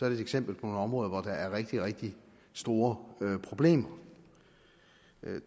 et eksempel på et område hvor der er rigtig rigtig store problemer